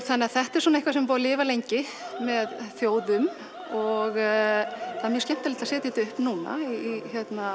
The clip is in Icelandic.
þannig að þetta er eitthvað sem er búið að lifa lengi með þjóðum og það er mjög skemmtilegt að setja þetta upp núna í